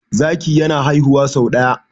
zaki yana haihuwa sau daya